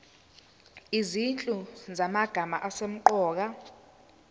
izinhlu zamagama asemqoka